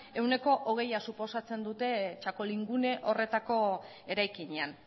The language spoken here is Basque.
ehuneko hogeia suposatzen dute txakolingune horretako eraikinean